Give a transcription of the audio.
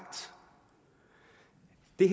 det